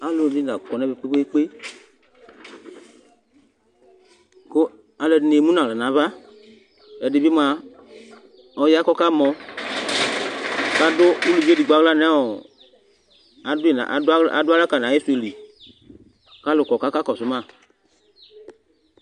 alʊɛɗɩnɩ aƙɔ nʊ ɛmɛ ƙpeƙpeeƙpe alʊɛɗɩnɩ emʊnʊ ahla nʊ aʋa ɛɗɩɓɩya ƙʊ ɔƙamɔ aɗʊ ʊlʊʋɩ eɗɩgɓo nafa aɗʊalɛ ahla ƙalʊnɩ aƙɔ ƙʊ aƙaƙosʊma